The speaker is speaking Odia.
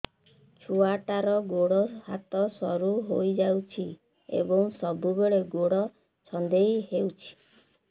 ଛୁଆଟାର ଗୋଡ଼ ହାତ ସରୁ ହୋଇଯାଇଛି ଏବଂ ସବୁବେଳେ ଗୋଡ଼ ଛଂଦେଇ ହେଉଛି